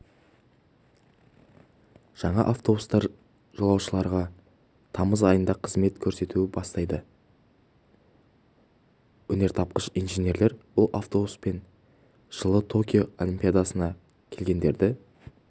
жаңа автобустар жолаушыларға тамыз айында қызмет көрсетуді бастайды өнертапқыш инженерлер бұл автобустармен жылы токио олимпиадасына келгендерді